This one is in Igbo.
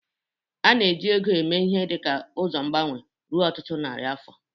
A na-eji ego eme ihe dị ka ụzọ mgbanwe ruo ọtụtụ narị afọ.